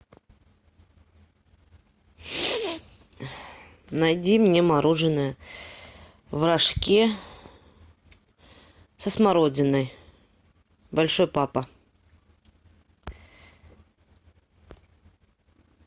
найди мне мороженое в рожке со смородиной большой папа